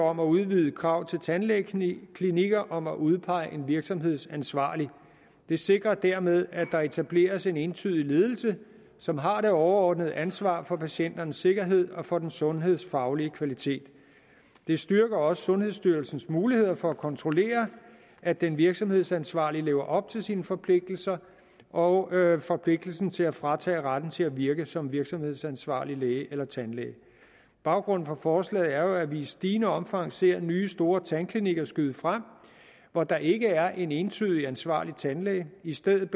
om at udvide et krav til tandlægeklinikker om at udpege en virksomhedsansvarlig det sikrer dermed at der etableres en entydig ledelse som har det overordnede ansvar for patienternes sikkerhed og for den sundhedsfaglige kvalitet det styrker også sundhedsstyrelsens muligheder for at kontrollere at den virksomhedsansvarlige lever op til sine forpligtelser og forpligtelsen til at fratage retten til at virke som virksomhedsansvarlig læge eller tandlæge baggrunden for forslaget er jo at vi i stigende omfang ser nye store tandklinikker skyde frem hvor der ikke er en entydig ansvarlig tandlæge i stedet